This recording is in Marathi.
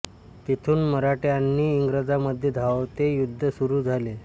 तिथून मराठे आणि इंग्रजांमध्ये धावते युद्ध सुरू झाले